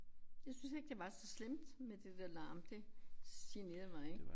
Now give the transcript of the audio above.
Jeg synes ikke det var så slemt med det der larm det generede mig ikke